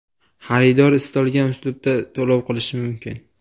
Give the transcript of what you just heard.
Xaridor istalgan uslubda to‘lov qilishi mumkin.